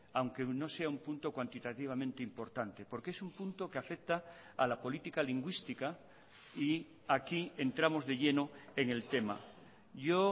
aunque no sea un punto cuantitativamente importante porque es un punto que afecta a la política lingüística y aquí entramos de lleno en el tema yo